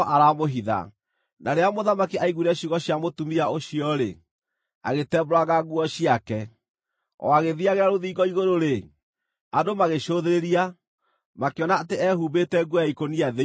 Na rĩrĩa mũthamaki aaiguire ciugo cia mũtumia ũcio-rĩ, agĩtembũranga nguo ciake. O agĩthiiagĩra rũthingo igũrũ-rĩ, andũ magĩcũthĩrĩria, makĩona atĩ eehumbĩte nguo ya ikũnia thĩinĩ.